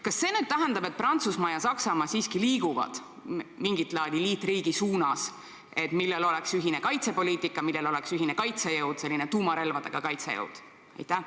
Kas see tähendab, et Prantsusmaa ja Saksamaa siiski liiguvad mingit laadi liitriigi suunas, millel oleks ühine kaitsepoliitika, millel oleks ühine kaitsejõud – selline tuumarelvadega kaitsmise jõud?